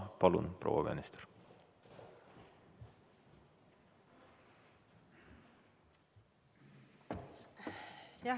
Palun, proua minister!